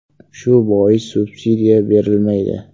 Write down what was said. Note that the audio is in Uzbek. Shu bois subsidiya berilmaydi”.